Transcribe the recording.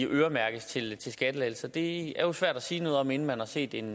øremærkes til skattelettelser det jo svært at sige noget om inden man har set en